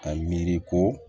A miiri ko